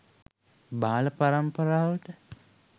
බාල පරම්පරාවට